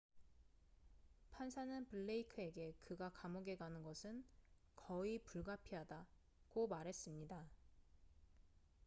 "판사는 블레이크에게 그가 감옥에 가는 것은 "거의 불가피하다""고 말했습니다.